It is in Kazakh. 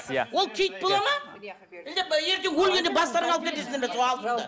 иә ол кит бола ма ертең өлгенде бастарыңа алып кетесіңдер ме сол алтынды